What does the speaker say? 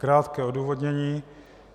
Krátké odůvodnění.